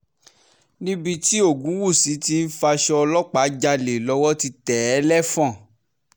níbi tí ògúnwúsì tí ń faṣọ ọlọ́pàá jalè lọ́wọ́ ti tẹ̀ ẹ́ lẹ́fọ́n